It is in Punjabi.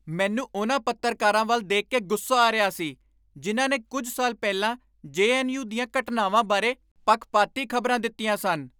ਮੈਨੂੰ ਉਨ੍ਹਾਂ ਪੱਤਰਕਾਰਾਂ ਵੱਲ ਦੇਖ ਕੇ ਗੁੱਸਾ ਆ ਰਿਹਾ ਸੀ ਜਿਨ੍ਹਾਂ ਨੇ ਕੁੱਝ ਸਾਲ ਪਹਿਲਾਂ ਜੇ.ਐੱਨ.ਯੂ. ਦੀਆਂ ਘਟਨਾਵਾਂ ਬਾਰੇ ਪੱਖਪਾਤੀ ਖ਼ਬਰਾਂ ਦਿੱਤੀਆਂ ਸਨ।